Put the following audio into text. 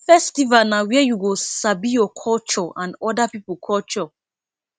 festival na where you go sabi your culture and oda pipo culture